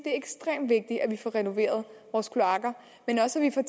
er ekstremt vigtigt at vi får renoveret vores kloakker men også at